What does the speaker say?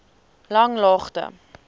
langlaagte